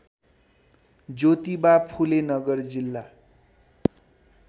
ज्योतिबा फुले नगर जिल्ला